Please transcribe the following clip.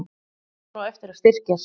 Hann á eftir að styrkjast.